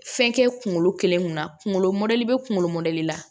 Fɛn kɛ kunkolo kelen kunna kungolo mɔdɛli bɛ kunkolo mɔdɛli la